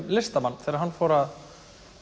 listamann þegar hann fór að